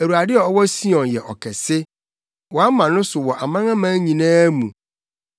Awurade a ɔwɔ Sion yɛ ɔkɛse; wɔama no so wɔ amanaman nyinaa mu.